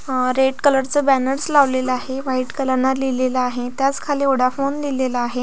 Red colour चा banner लवलेला आहे व्हाइट कलर ने लिहिलेल आहे त्याच खाली वोडफोन लिहिलेल आहे.